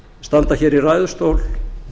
standa hér í ræðustól